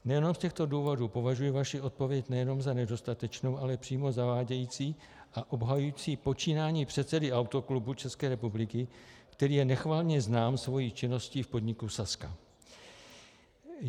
Nejenom z těchto důvodů považuji vaši odpověď nejenom za nedostatečnou, ale přímo zavádějící a obsahující počínání předsedy Autoklubu České republiky, který je nechvalně znám svou činností v podniku Sazka.